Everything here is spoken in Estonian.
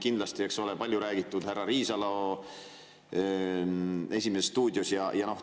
Kindlasti, eks ole, saab mainida palju räägitud härra Riisalo "Esimeses stuudios".